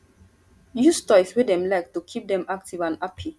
use toys wey dem like to keep dem active and happy